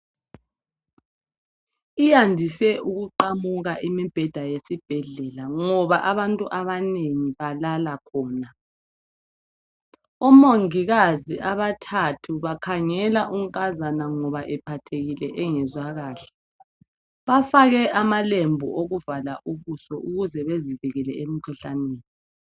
Iyandise ukuqamuka imibheda yesibhedlela ngoba abantu abanengi balala khona omongikazi abathathu bakhangela unkazana ngoba ephathekile engezwa kahle bafake ama lembu okuvala ubuso ukuze bezivikele emikhuhlaneni.